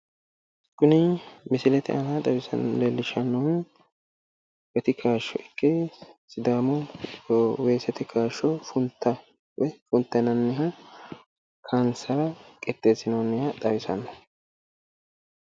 Kuni misilete aana leellishshannohu gati kaashsho ikke sidaamu weesete kaashsho funta woy funta yianniha kaayinsara qixxeessinoonniha xawisanno.